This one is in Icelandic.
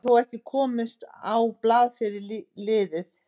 Hann hefur þó ekki komist á blað fyrir liðið.